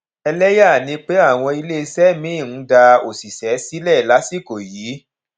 ẹlẹyà ni pé àwọn iléeṣẹ míì ń dá òṣìṣẹ sílẹ lásìkò yìí